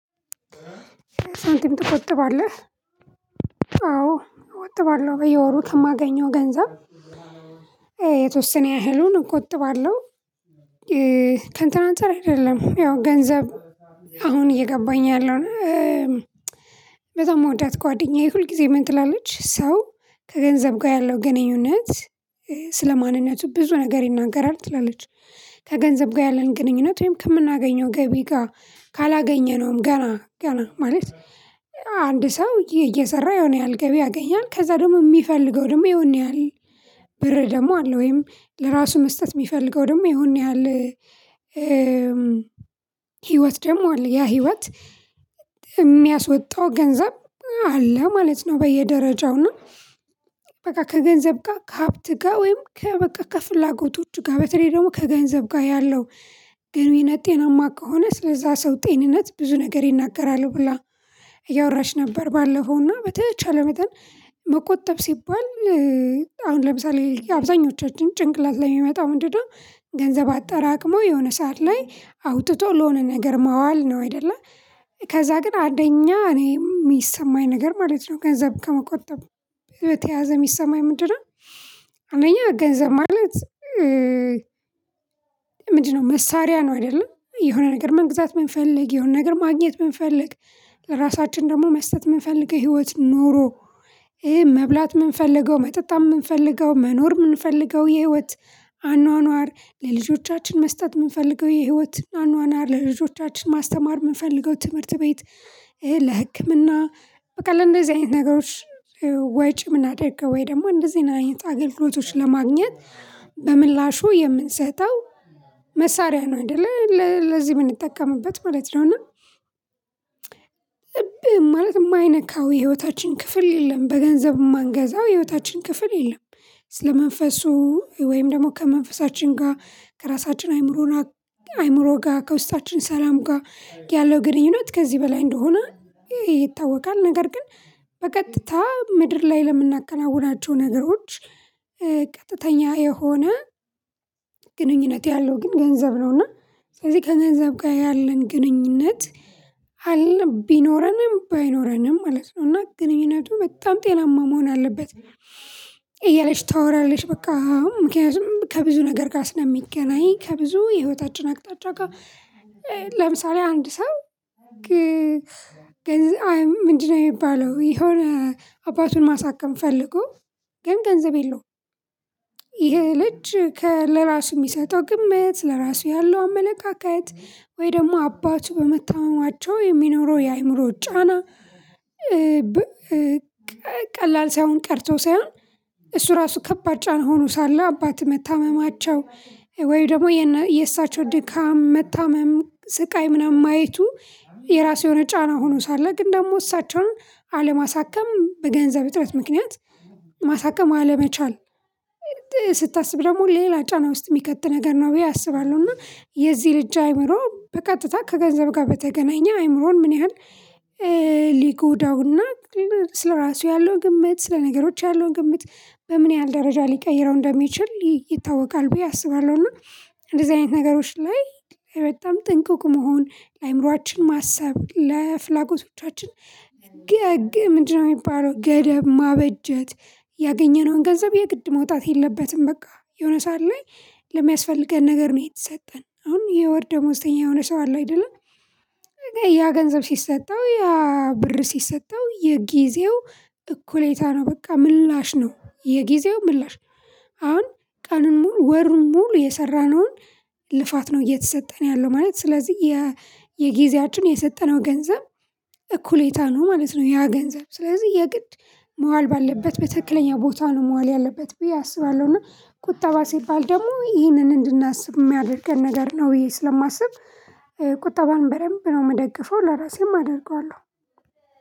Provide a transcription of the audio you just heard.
ሳንቲም ትቆጥባለህ አዎ እቆጥባለሁ በየወሩት ከማገኘው ገንዘብ የተወሰነ ያህሉን እቆጥባለሁ። ከንትን አንፃር አይደለም ያው ገንዘብ አሁን እየገባኝ ያለው። በጣም ምወዳት ጓደኛዬ ሁል ጊዜ ምን ትላለች ሰው ከገንዘብ ጋር ያለው ግንኙነት ስለ ማንነቱ ብዙ ነገር ይናገራል ትላለች። ከገንዘብ ጋር ያለን ግንኙነት ወይም ከምናገኘው ገቢ ጋር ካላገኘነውም ገና ገና ማለት አንድ ሰው እየሰራ የሆነ ያህል ገቢ ያገኛል ከዛ ደግሞ የሚፈልገው ደግሞ የሆነ ያህል ብር ደግሞ አለ ወይም ለራሱ መስጠት የሚፈልገው ደግሞ የሆነ ያህል። ህይወት ደግሞ ያ ህይወት የሚያስወጣው ገንዘብ አለ ማለት ነው። በየደረጃው እና በቃ ከገንዘብ ጋር ከሀብት ጋር ወይም ከ በቃ ከፍላጎቶች ጋር በተለይ ደግሞ ከገንዘብ ጋር ያለው ግንኙነት ጤናማ ከሆነ ስለዛ ሰው ጤንነት ብዙ ነገር ይናገራል ብላ። ብላ እያወራች ነበር ባለፈውና በተቻለ መጠን መቆጠብ ሲባል። አሁን ለምሳሌ አብዛኞቻችን ጭንቅላት ላይ የሚመጣው ምንድነው? ገንዘብ አጠራቅሞ የሆነ ሰዓት ላይ አውጥቶ ለሆነ ነገር ማዋል ነው አይደለ? ከዛ ግን አደኛ እኔ የሚሰማኝ ነገር ማለት ነው። ገንዘብ ከመቆጠብ በተያያዘ የሚሰማኝ ምንድነው? አንደኛ ገንዘብ ማለት ምንድነው መሳሪያ ነው። አይደለ የሆነ ነገር መንግዛት የምንፈልግ የሆነ ነገር ማግኘት የምንፈልግ። ለራሳችን ደግሞ መስጠት የምንፈልገው ህይወት ኖሮ ይሄ መብላት የምንፈልገው መጠጣት የምንፈልገው መኖር የምንፈልገው የህይወት አኗኗር ለልጆቻችን መስጠት የምንፈልገው የህይወት አኗኗር ለልጆቻችን ማስተማር የምንፈልገው ትምህርት ቤት ለህክምና በቃ ለእንደዚህ አይነት ነገሮች። ወጪ ምናደርገው ወይ ደግሞ እንደዚህ አይነት አገልግሎቶች ለማግኘት በምላሹ የምንሰጠው መሳሪያ ነው እንደ ለዚህ የምንጠቀምበት ማለት ነው። እና እ ማለት የማይነካው የህይወታችን ክፍል የለም በገንዘብ የማንገዛው የህይወታችን ክፍል የለም። ስለ መንፈሱ ወይም ደግሞ ከመንፈሳችን ጋር ከራሳችን አይምሮ አይምሮ ጋር ከውስጣችን ሰላም ጋር ያለው ግንኙነት ከዚህ በላይ እንደሆነ ይታወቃል። ነገር ግን በቀጥታ ምድር ላይ ለምናከናውናቸው ነገሮች። ቀጥተኛ የሆነ ግንኙነት ያለው ግን ገንዘብ ነውና። ስለዚህ ከገንዘብ ጋር ያለን ግንኙነት አለ ቢኖረንም ባይኖረንም ማለት ነው እና ግንኙነቱ በጣም ጤናማ መሆን አለበት። እያለች ታወራለች በቃ ምክንያቱም ከብዙ ነገር ጋር ስለሚገናኝ ከብዙ የህይወታችን አቅጣጫ ጋር ለምሳሌ አንድ ሰው። ምንድነው የሚባለው የሆነ አባቱን ማሳከም ፈልጎ ግን ገንዘብ የለውም። ይሄ ልጅ ለራሱ የሚሰጠው ግምት ለራሱ ያለው አመለካከት ወይ ደግሞ አባቱ በመተማማታቸው የሚኖረው የአእምሮ ጫና። ቀላል ሳይሆን ቀርተው ሳይሆን እሱ ራሱ ከባድ ጫና ሆኖ ሳለ አባት መታመማቸው ወይ ደግሞ የእሳቸው ድካም መታመም ስቃይ ምናምን ማየቱ የራሱ የሆነ ጫና ሆኖ ሳለ ግን ደግሞ እሳቸውን አለማሳከም በገንዘብ እጥረት ምክንያት ማሳከም አለመቻል። ስታስብ ደግሞ ሌላ ጫና ውስጥ የሚከት ነገር ነው ብዬ አስባለሁ። እና የዚህ ልጅ አይምሮ በቀጥታ ከገንዘብ ጋር በተገናኘ አይምሮን ምን ያህል ሊጎዳውና ስለራሱ ያለው ግምት ስለነገሮች ያለው ግምት በምን ያህል ደረጃ ሊቀይረው እንደሚችል ይታወቃል። ብዬ አስባለሁ። እና እንደዚህ አይነት ነገሮች ላይ በጣም ጥንኧቁቅ መሆን ለአእምሮአችን ማሰብ ለፍላጎቶቻችን ግን ምንድ ነው የሚባለው ገደብ ማበጀት። ያገኘነውን ገንዘብ የግድ መውጣት የለበትም በቃ የሆነ ሰዓት ላይ ለሚያስፈልገን ነገር ነው የተሰጠን አሁን የወር ደሞዝተኛ የሆነ ሰው አለው አይደለም? ያ ገንዘብ ሲሰጠው ያ ብር ሲሰጠው የጊዜው እኩሌታ ነው በቃ ምላሽ ነው የጊዜው ምላሽ። አሁን ቀንን ሙሉ ወሩን ሙሉ የሰራነውን ልፋት ነው እየተሰጠን ያለው ማለት ስለዚህ የጊዜያችን የሰጠነው ገንዘብ እኩሌታ ነው ማለት ነው። ያ ገንዘብ ስለዚህ የግድ መዋል ባለበት በትክክለኛ ቦታ ነው መዋል ያለበት ብዬ አስባለሁ። እና ቁጠባ ሲባል ደግሞ ይህንን እንድናስብ የሚያደርገን ነገር ነው። ብዬ ስለማስብ ቁጠባን በደንብ ነው የምደግፈው ለራሴም አደርገዋለሁ።